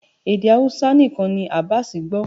Èdè Hausa nìkan ni Abass gbó